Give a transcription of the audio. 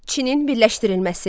Çinin birləşdirilməsi.